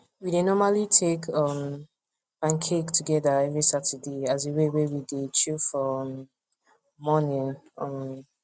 we dey normally take um pancake together every saturday as a way wey we dey chill for um morning um